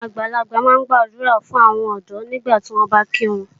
Àwọn àgbàlagbà máa ń gbàdúrà fún àwọn ọ̀dọ́ nígbàtí wọ́n bá kí wọn.